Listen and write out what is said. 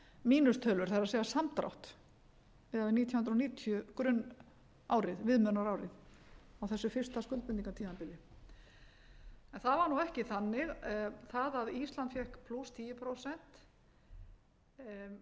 mínustölur það er samdrátt miðað við nítján hundruð níutíu grunnárið viðmiðunarárið á þessu fyrsta skuldbindingartímabili það var nú ekki þannig það að ísland fékk tíu prósent var